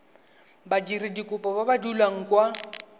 badiradikopo ba ba dulang kwa